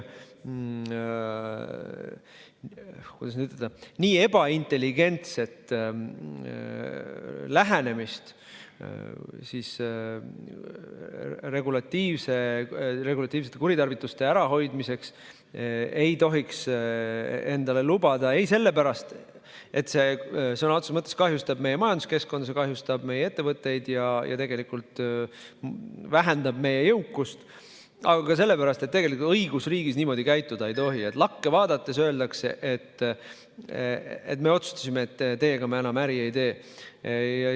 No nii ebaintelligentset lähenemist regulatiivsete kuritarvituste ärahoidmiseks ei tohiks endale lubada ei sellepärast, et see sõna otseses mõttes kahjustab meie majanduskeskkonda, kahjustab meie ettevõtteid ja vähendab meie jõukust, ega ka sellepärast, et õigusriigis niimoodi käituda ei tohi – lakke vaadates öeldakse, et me otsustasime, et teiega me enam äri ei tee.